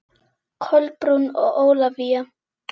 Kolbrún og Ólafía.